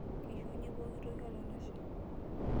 Keishunye pokitoki olalashe.